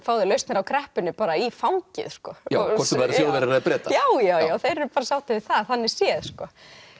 fá þeir lausnir á kreppunni bara í fangið hvort sem það eru Þjóðverjar eða Bretar já já þeir eru sáttir við það þannig séð sko